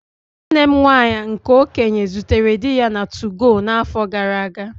Nwanne m nwaanyị nke okenye zutere di ya na 2go na-afọ gara-aga.